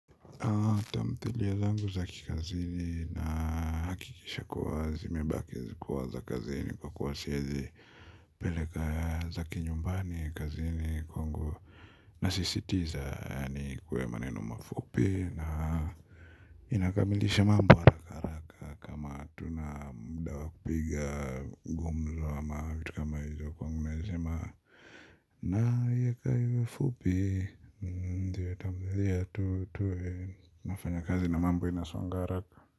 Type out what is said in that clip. Kwenye lengo za kikazini na hakikisha kuwa zimebaki zikuwa za kazini kwa kuwasiezi Pele kaya za kinyumbani kazini kwangu. Na sisitiza yani kuwe maneno mafupi na inakamilisha mambo araka. Piga gumzo ama kitu kama hizo kwangu nazema. Na iyeka hivyo fupi. Ndiye tamzidhia tu tue nafanya kazi na mambo inasonga araka.